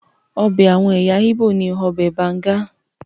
Ọbẹ̀ àwọn ẹ̀yà Igbo ni ọbẹ̀ banga.